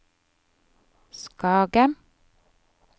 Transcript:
Skage